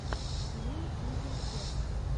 лил узи верт